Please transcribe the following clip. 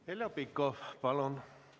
Heljo Pikhof, palun!